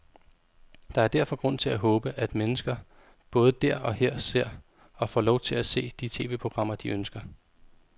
Der er derfor grund til at håbe, at mennesker både der og her ser, og får lov til at se, de tv-programmer, de ønsker.